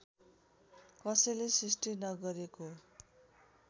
कसैले सृष्टि नगरेको